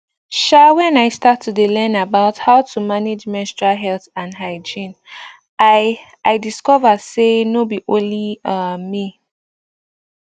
um when i start to dey learn about how to manage menstrual health and hygiene i i discover say nor be only um me